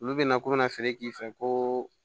Olu bɛna k'u bɛna feere k'i fɛ ko